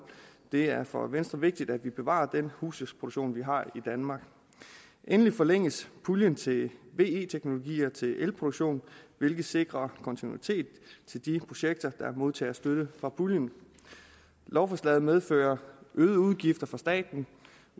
det er for venstre vigtigt at vi bevarer den husdyrsproduktion vi har i danmark endelig forlænges puljen til ve teknologier til elproduktion hvilket sikrer kontinuitet til de projekter der modtager støtte fra puljen lovforslaget medfører øgede udgifter for staten